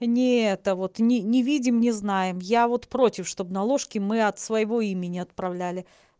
не это вот ни ни видим не знаем я вот против чтобы на ложке мы от своего имени отправляли